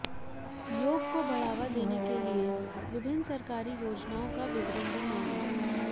योग को बढ़ावा देने के लिए विभिन्न सरकारी योजनाओं का विवरण भी मांगा